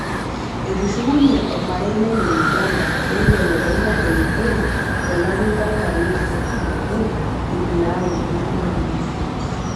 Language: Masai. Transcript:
Etushukunye ormarei lenye Uganda peibelekenya erikore to lari lenkalifu nabo iip naaduo ontomoni siet